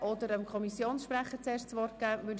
Wünscht der Kommissionspräsident zuerst das Wort?